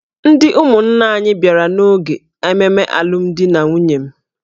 Ndị ụmụnna anyị bịara n’oge ememe alụmdi na nwunye m.